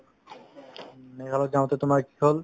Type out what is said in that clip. মেঘালয়ত যাওঁতে তোমাৰ কি হ'ল